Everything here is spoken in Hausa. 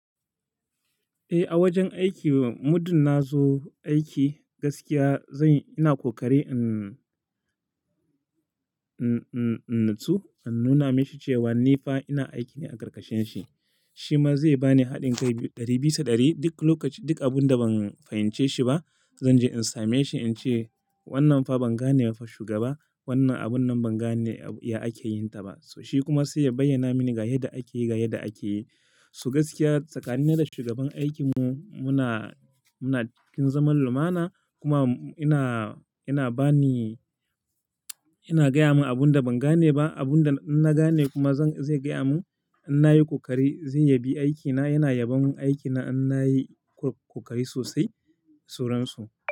Eh, a wajen aiki muddin na zo aiki gaskiya zan-- ina kokari in, in, in, in natsu an nuna mashi cewa ni fa ina aiki ne a karkashin shi. Shi ma zai bani haɗin kai ɗari bisa ɗari. Duk lokaci, duk abun da ban fahimce shi ba, zan je in same shi in ce, "Wannan fa ban gane ba shugaba. Wannan abun nan ban gane ya ake yin ta ba." So shi kuma sai ya bayyana mini ga yadda ake yi, ga yadda ake yi. So gaskiya tsakanina da shugaban aikin mu muna, muna ƙin zaman lumana. Kuma ina, ina bani, ina gaya mun abun da ban gane ba. Abun da na gane kuma zan-- zai gaya mun. Inna yi koƙari zai yabi aikina. Yana yabon aikina in na yi koƙari sosai sauransu.